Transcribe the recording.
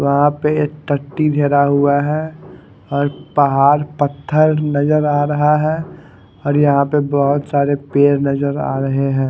वहा पे हुआ है और पाहड पत्थर नजर आ रहा है और यहा पे बहोत सारे पेड नजर आ रहे है।